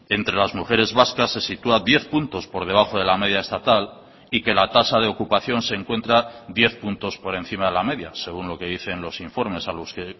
entre las mujeres vascas se sitúa diez puntos por debajo de la media estatal y que la tasa de ocupación se encuentra diez puntos por encima de la media según lo que dicen los informes a los que